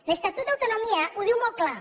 l’estatut d’autonomia ho diu molt clar